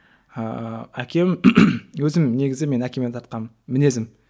ыыы әкем өзім негізі мен әкеме тартқанмын мінезім